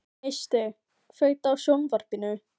Sabrína, hringdu í Guðjóníu eftir fjörutíu og þrjár mínútur.